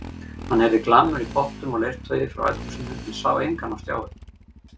Hann heyrði glamur í pottum og leirtaui frá eldhúsinu en sá engan á stjái.